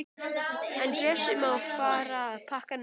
En Bjössi má fara að pakka niður.